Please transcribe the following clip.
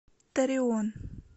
торреон